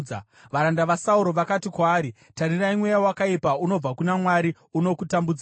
Varanda vaSauro vakati kwaari, “Tarirai mweya wakaipa unobva kuna Mwari unokutambudzai.